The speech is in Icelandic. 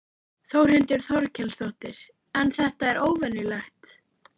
Þórhildur Þorkelsdóttir: En þetta er óvenjulegt?